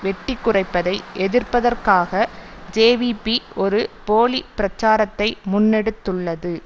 வெட்டி குறைப்பதை எதிர்ப்பதற்காக ஜேவிபி ஒரு போலி பிரச்சாரத்தை முன்னெடுத்துள்ளது